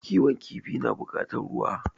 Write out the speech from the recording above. Kiwon kifi na bukatar ruwa